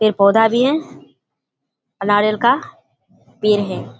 पेड़ पौधा भी हैं और नारियाल का पेड़ हैं।